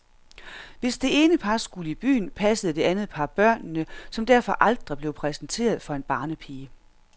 Hvis det ene par skulle i byen, passede det andet par børnene, som derfor aldrig blev præsenteret for en barnepige.